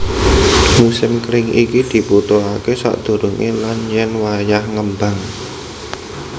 Musim kering iki dibutuhaké sadurungé lan yen wayah ngembang